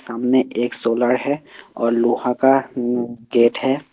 सामने एक सोलर है और लोहा का गेट है।